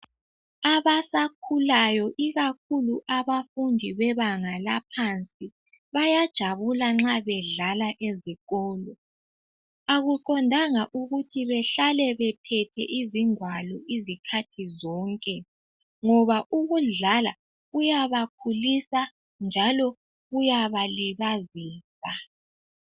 Abasakhulayo ikakhulu abafundi bebanga laphansi, bayajabula nxa bedlala ezikolo. Akuqondanga ukuthi behlale bephethe izingwalo izikhathi zonke. Ngoba ukudlala kuyabakhulisa njalo kuyabalibazisa.